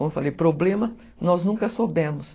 Como eu falei, problema nós nunca soubemos.